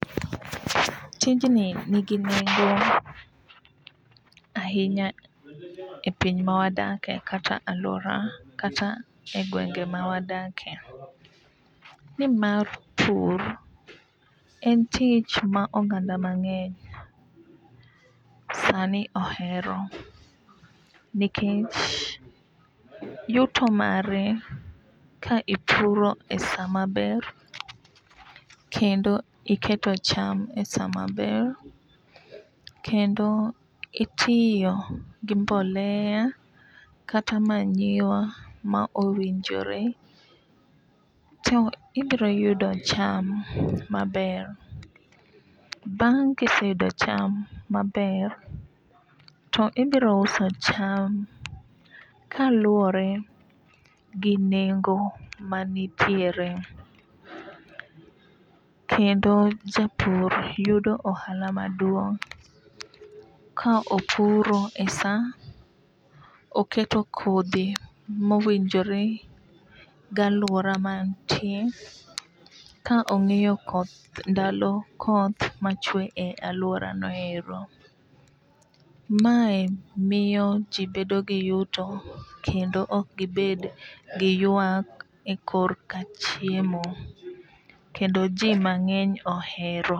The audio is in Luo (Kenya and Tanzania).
Tijni nigi nengo ahinya e piny ma wadake kata aluora kata e gwenge ma wadake nimar pur en tich ma oganda mang'eny sani ohero nikech yuto mare ka ipuro esaa maber kendo iketo cham esaa maber kendo itiyo gi mbolea kata manyiwa ma owinjore to ibro yudo cham maber .Bang' kiseyudo cham maber to ibro uso cham kaluwore gi nengo manitiere. Kendo japur yudo ohala maduong' ka opuro e saa oketo kodhi mowinjore galuora mantie ka ong'iyo koth ndalo koth machwe e luora no ero. Mae miyo jii bedo gi yuto kendo ok gibed gi ywak e korka chiemo kendo jii mang'eny ohero.